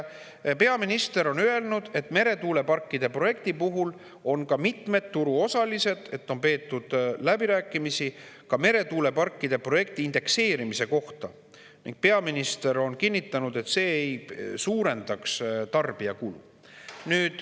Peaminister on öelnud, et meretuuleparkide projekti puhul on ka mitmete turuosalistega peetud läbirääkimisi meretuuleparkide indekseerimise kohta, ning peaminister on kinnitanud, et see ei suurendaks tarbija kulu.